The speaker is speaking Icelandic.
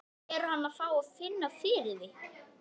Er hann að fá að finna fyrir því?